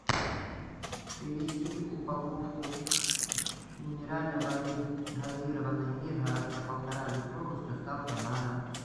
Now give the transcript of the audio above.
привезти упаковку минеральной воды газированной миргородская полтора литровой с доставкой на дом